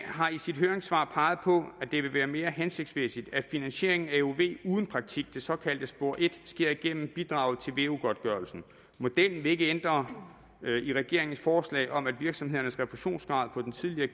har i sit høringssvar peget på at det vil være mere hensigtsmæssigt at finansieringen af euv uden praktik det såkaldte spor et sker gennem bidraget til veu godtgørelsen modellen vil ikke ændre i regeringens forslag om at virksomhedernes refusionsgrad på den tidligere